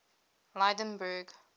lydenburg